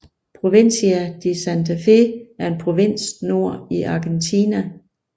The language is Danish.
Provincia de Santa Fe er en provins nord i Argentina